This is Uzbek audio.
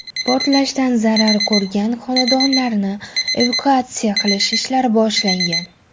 Portlashdan zarar ko‘rgan xonadonlarni evakuatsiya qilish ishlari boshlangan.